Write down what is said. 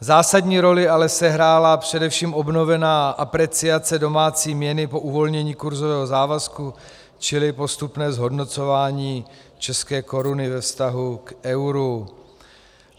Zásadní roli ale sehrála především obnovená apreciace domácí měny po uvolnění kurzového závazku, čili postupné zhodnocování české koruny ve vztahu k euru.